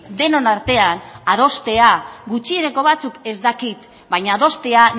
denon artean adostea gutxieneko batzuk ez dakit baina adostea